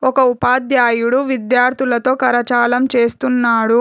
ఒక ఉపాధ్యాయుడు విద్యార్థులతో కరచాలం చేస్తున్నాడు.